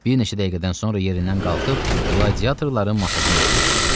Bir neçə dəqiqədən sonra yerindən qalxıb qladiatorların masasına yaxınlaşdı.